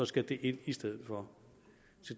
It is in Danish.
skal det ind i stedet for